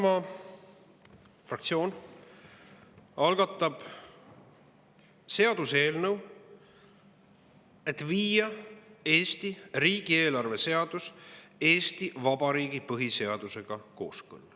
Isamaa fraktsioon algatab seaduseelnõu, et viia Eesti riigieelarve seadus kooskõlla Eesti Vabariigi põhiseadusega.